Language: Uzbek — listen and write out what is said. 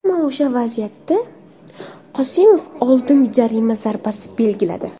Ammo o‘sha vaziyatda Qosimov oldin jarima zarbasi belgiladi.